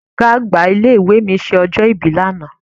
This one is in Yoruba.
Ọ̀gá àgbà ilé ìwé mi ṣe ọjọ́ ìbí lánàá.